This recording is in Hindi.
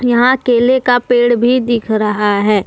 यहां केले का पेड़ भी दिख रहा है।